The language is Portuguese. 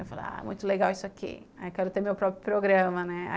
Eu falava, muito legal isso aqui, aí quero ter meu próprio programa, né.